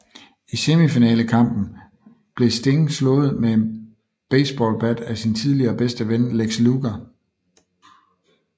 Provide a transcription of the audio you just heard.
I semifinalekampen blev Sting slået med en baseballbat af sin tidligere bedste ven Lex Luger